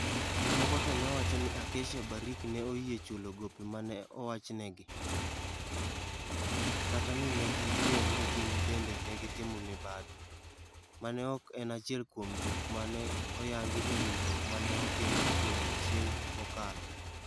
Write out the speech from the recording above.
Moko to ne wacho ni Acacia/Barrick ne oyie chulo gope ma ne owachnegi, kata ni ne giyie ni gin bende ne gitimo mibadhi, ma ne ok en achiel kuom gik ma ne oyangi e winjruok ma ne otim e odiechieng' mokalo.